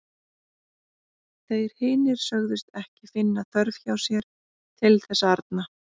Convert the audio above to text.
Þeir hinir sögðust ekki finna þörf hjá sér til þess arna.